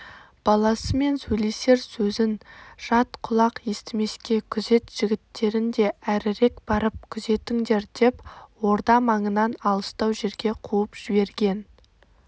баласымен сөйлесер сөзін жат құлақ естімеске күзет жігіттерін де әрірек барып күзетіңдердеп орда маңынан алыстау жерге қуып жіберген